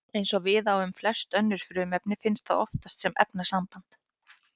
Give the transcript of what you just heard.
Eins og við á um flest önnur frumefni finnst það oftast sem efnasamband.